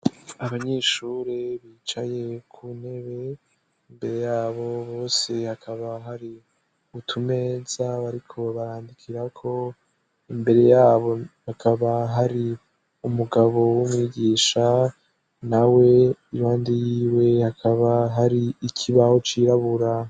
Abanyeshure bicaye ku ntebe ; imbere yabo bose hakaba hari utumeza bariko barandikirako; imbere yabo hakaba hari umugabo w'umwigisha nawe impande yiwe hakaba hari ikibaho cirabura.